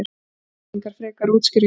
Það þurfti engar frekari útskýringar.